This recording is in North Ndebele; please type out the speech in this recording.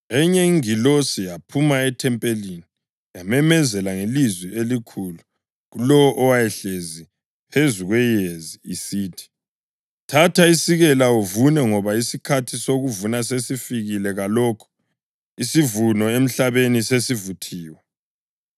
Enye ingilosi yaphuma ethempelini yamemezela ngelizwi elikhulu kulowo owayehlezi phezu kweyezi isithi, “Thatha isikela uvune ngoba isikhathi sokuvuna sesifikile kalokho isivuno emhlabeni sesivuthiwe.”